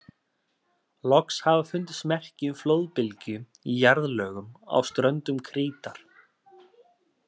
Loks hafa fundist merki um flóðbylgju í jarðlögum á ströndum Krítar.